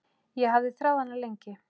Ég hafði þráð hana lengi.